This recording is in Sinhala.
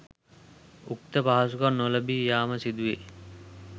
උක්ත පහසුකම් නොලැබී යාම සිදුවේ.